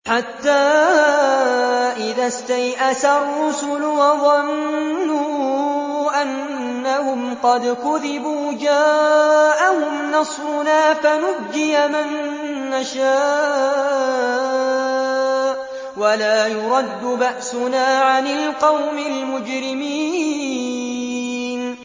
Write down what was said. حَتَّىٰ إِذَا اسْتَيْأَسَ الرُّسُلُ وَظَنُّوا أَنَّهُمْ قَدْ كُذِبُوا جَاءَهُمْ نَصْرُنَا فَنُجِّيَ مَن نَّشَاءُ ۖ وَلَا يُرَدُّ بَأْسُنَا عَنِ الْقَوْمِ الْمُجْرِمِينَ